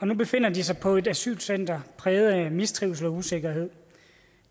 nu befinder de sig på et asylcenter præget af mistrivsel og usikkerhed